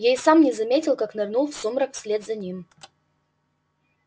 я и сам не заметил как нырнул в сумрак вслед за ним